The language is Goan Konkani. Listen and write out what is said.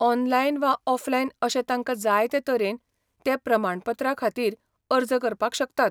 ऑनलायन वा ऑफलायन अशे तांकां जाय ते तरेन ते प्रमाणपत्रा खातीर अर्ज करपाक शकतात.